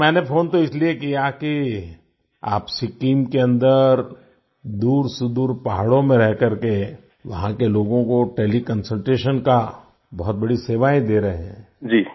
अच्छा मैंने फ़ोन तो इसलिए किया कि आप सिक्किम के अंदर दूरसुदूर पहाड़ों में रहकर के वहाँ के लोगों को तेले कंसल्टेशन का बहुत बड़ी सेवाएँ दे रहे हैं